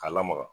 K'a lamaga